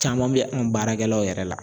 Caman bɛ an baarakɛlaw yɛrɛ la.